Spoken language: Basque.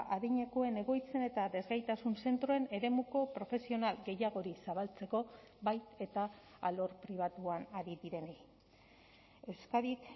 adinekoen egoitzen eta desgaitasun zentroen eremuko profesional gehiagori zabaltzeko bai eta alor pribatuan ari direnei euskadik